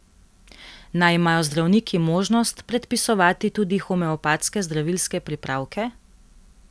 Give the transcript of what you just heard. Naj imajo zdravniki možnost predpisovati tudi homeopatske zdravilske pripravke?